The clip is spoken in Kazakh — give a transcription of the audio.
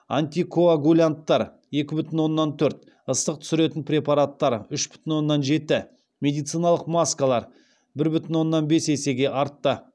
антикоагулянттар екі бүтін оннан төрт ыстық түсіретін препараттар үш бүтін оннан жеті медициналық маскалар бір бүтін оннан бес есеге артты